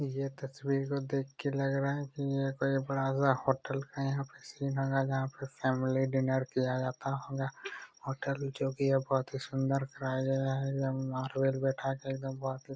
ये तस्वीर को देख के लग रहा है की यह कोई बड़ा-सा होटल है यहाँ पे सी नगर यहां पे फैमिली डिनर किया जाता होगा होटल जो की यह बहुत ही सुन्दर कराया गया है बहुत ही --